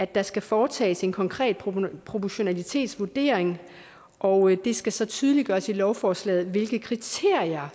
der skal foretages en konkret proportionalitetsvurdering og det skal så tydeliggøres i lovforslaget hvilke kriterier